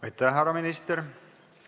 Aitäh, härra minister!